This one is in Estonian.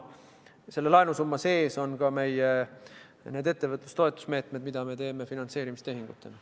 Selle laenusumma sees on ka meie ettevõtlustoetuse meetmed, mida me teeme finantseerimistehingutena.